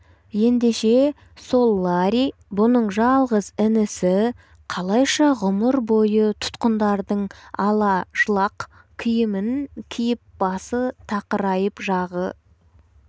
ендеше сол ларри бұның жалғыз інісі қалайша ғұмыр бойы тұтқындардың ала-жлақ киімін киіп басы тақырайып жағы